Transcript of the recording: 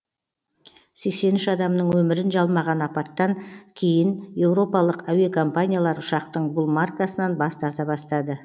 сексен үш адамның өмірін жалмаған апаттан кейін еуропалық әуе компаниялар ұшақтың бұл маркасынан бас тарта бастады